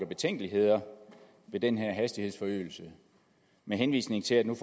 betænkeligheder ved den her hastighedsforøgelse med henvisning til at man